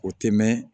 O tɛ mɛn